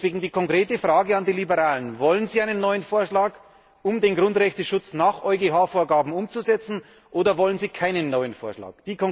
Deswegen die konkrete Frage an die Liberalen Wollen Sie einen neuen Vorschlag, um den Grundrechteschutz nach EuGH Vorgaben umzusetzen, oder wollen Sie keinen neuen Vorschlag?